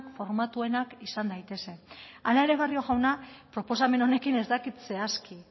formatuenak izan daitezen hala ere barrio jauna proposamen honekin ez dakit zehazki